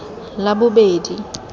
labobedi